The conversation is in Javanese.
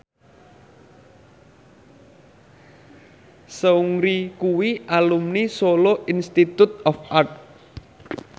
Seungri kuwi alumni Solo Institute of Art